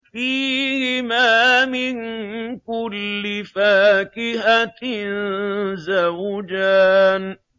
فِيهِمَا مِن كُلِّ فَاكِهَةٍ زَوْجَانِ